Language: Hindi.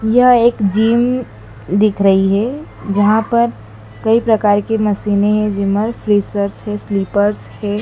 यह एक जिम दिख रही है जहां पर कई प्रकार की मशीने है जिमर फीचर्स है स्लिपर्स है।